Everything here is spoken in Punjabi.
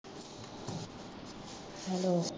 ਹੈਲੋ